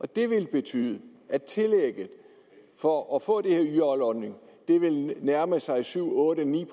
det ville betyde at tillægget for at få den her yj ordning ville nærme sig syv otte ni